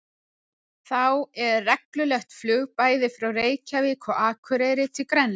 Þá er reglulegt flug bæði frá Reykjavík og Akureyri til Grænlands.